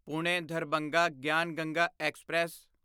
Pune Darbhanga Gyan Ganga express